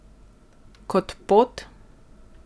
Kot pot?